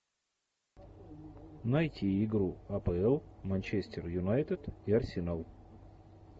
найти игру апл манчестер юнайтед и арсенал